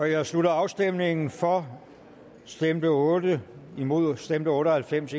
jeg slutter afstemningen for stemte otte imod stemte otte og halvfems